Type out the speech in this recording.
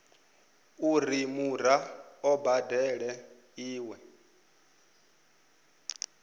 uri muraḓo a badele iṅwe